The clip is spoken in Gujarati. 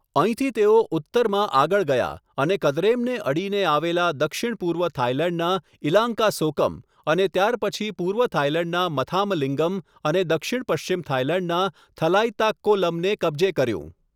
અહીંથી તેઓ ઉત્તરમાં આગળ ગયા અને કદરેમને અડીને આવેલા દક્ષિણ પૂર્વ થાઈલેન્ડના ઈલાન્કાસોકમ અને ત્યારપછી પૂર્વ થાઈલેન્ડના મથામલિંગમ અને દક્ષિણ પશ્ચિમ થાઈલેન્ડના થલાઈતાક્કોલમને કબજે કર્યું.